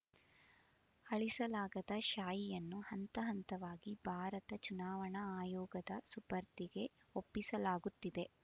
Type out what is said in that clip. ಅಳಿಸಲಾಗದ ಶಾಯಿಯನ್ನು ಹಂತ ಹಂತವಾಗಿ ಭಾರತ ಚುನಾವಣಾ ಆಯೋಗದ ಸುಪರ್ದಿಗೆ ಒಪ್ಪಿಸಲಾಗುತ್ತಿದೆ